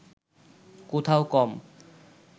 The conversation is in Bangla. কোথাও কম